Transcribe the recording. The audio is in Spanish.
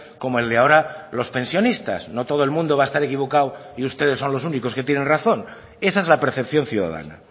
como el de ahora los pensionistas no todo el mundo va a estar equivocado y ustedes son los únicos que tienen razón esa es la percepción ciudadana